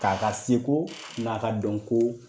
Ka k'a seko n'a ka dɔn ko